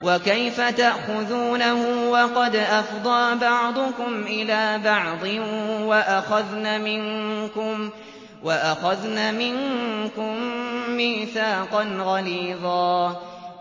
وَكَيْفَ تَأْخُذُونَهُ وَقَدْ أَفْضَىٰ بَعْضُكُمْ إِلَىٰ بَعْضٍ وَأَخَذْنَ مِنكُم مِّيثَاقًا غَلِيظًا